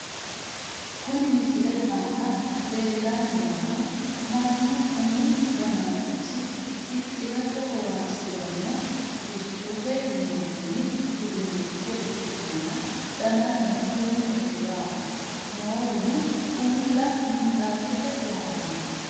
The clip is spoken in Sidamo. Kuni misilete aana leellanni noohu mannu umu danachosi fixxirate horonsiranno hufichote yinanni uduunnicho ikkitanna, danaseno duumete yaate noowino uulla minxaafete lawanno.